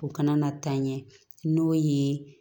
U kana na taa ɲɛ n'o ye